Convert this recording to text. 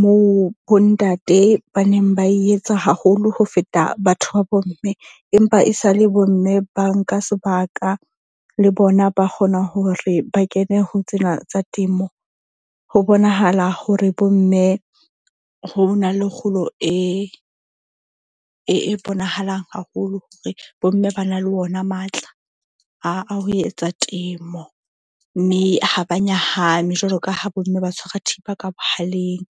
moo bontate ba neng ba e etsa haholo ho feta batho ba bomme. Empa e sa le bomme ba nka sebaka le bona ba kgona hore ba kene ho tsena tsa temo. Ho bonahala hore bo mme ho na le kgolo e bonahalang haholo hore, bomme ba na le wona matla a ho etsa temo. Mme ha ba nyahame jwalo ka ha bomme ba tshwara thipa ka bohaleng.